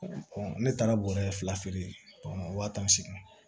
ne taara bɔrɔ fila feere waa tan ni segin